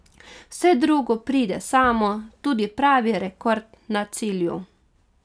Vse drugo pride samo, tudi pravi rekord na cilju.